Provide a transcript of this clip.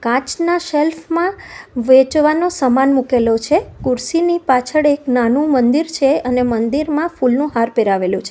કાચના સેલ્ફમાં વેચવાનો સામાન મુકેલો છે ખુરશીની પાછળ એક નાનું મંદિર છે અને મંદિરમાં ફૂલનું હાર પહેરાવેલું છે.